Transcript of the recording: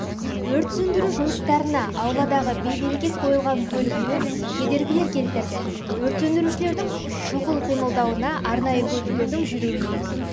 өрт сөндіру жұмыстарына ауладағы бей-берекет қойылған көліктер кедергілер келтірді өрт сөндірушілердің шұғыл қимылдауына арнайы көліктердің жүруіне